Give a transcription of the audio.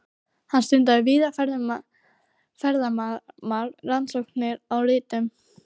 Hann stundaði víðfeðmar rannsóknir á ritun